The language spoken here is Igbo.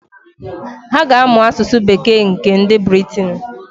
Ha ga-amụ asụsụ bekee nke nd Briten.